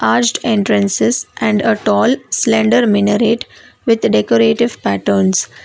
arched entrances and a tall slender minaret with decorative patterns.